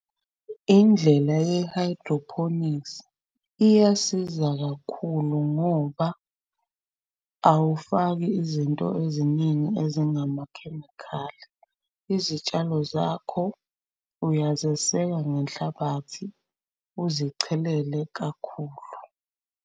Indlela ye-hydroponics iyasiza kakhulu ngoba awufaki izinto eziningi ezingamakhemikhali. Izitshalo zakho uyazeseka ngenhlabathi uzichelele kakhulu.